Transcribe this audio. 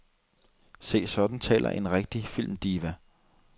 Se, sådan taler en rigtig filmdiva.